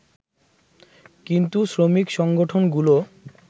কিন্তু শ্রমিক সংগঠনগুলো